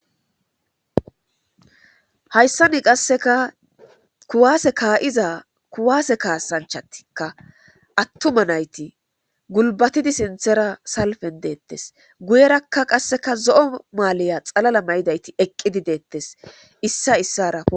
Hayssani qasseka kuwasse ka'iza kuwasse kaassanchatika attuma nayti gulbatidi sinththera salfen de'etees; guyeraka qasseka zo'o maaliya xalala mayidayti eqqidi de'etees; issay isara...